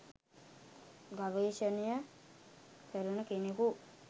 ගවේෂණය කරන කෙනෙකු